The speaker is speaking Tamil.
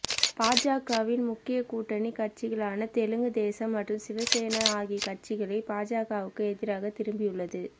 பாஜகவின் முக்கியா கூட்டணி கட்சிகளான தெலுங்கு தேசம் மற்றும் சிவசேனா ஆகிய கட்சிகளே பாஜகவுக்கு எதிராக திரும்பியுள்ளது